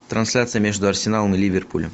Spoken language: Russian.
трансляция между арсеналом и ливерпулем